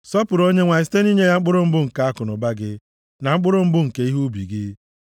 Sọpụrụ Onyenwe anyị site nʼinye ya mkpụrụ mbụ nke akụnụba gị, na mkpụrụ mbụ nke ihe ubi gị.